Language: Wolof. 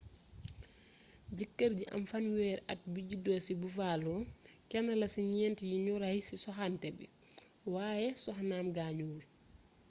jëkër ji am fanweeri at bi judo ci buffalo kenn la ci ñént yi nu ray ci soxanté bi wayé soxnaam gaañuwul